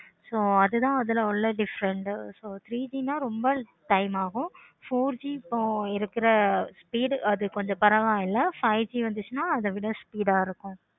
so அது தான் அதுல உள்ள different so three G நா ரொம்ப time ஆகும் இப்போ four G இருக்குற இப்போ